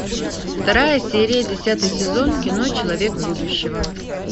вторая серия десятый сезон кино человек будущего